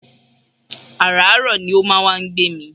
Àràárọ̀ ni ó máa wá ń gbé mi